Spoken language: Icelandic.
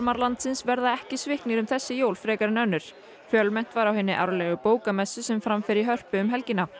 landsins verða ekki sviknir um þessi jól frekar en önnur fjölmennt var á hinni árlegu bókamessu sem fram fer í Hörpu um helgina